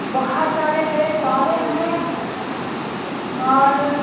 बहुत सारे पैर पौधे हैं और--